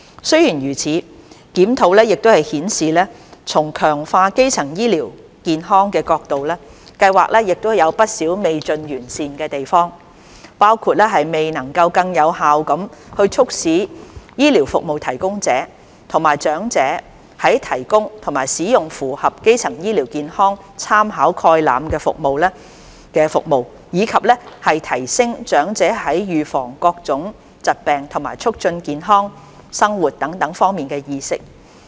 雖然如此，檢討亦顯示從強化基層醫療健康的角度，計劃有不少未盡完善的地方，包括未能更有效地促使醫療服務提供者及長者提供及使用符合基層醫療健康參考概覽的服務，以及提升長者在預防各種疾病和促進健康生活等方面的意識。